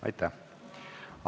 Aitäh!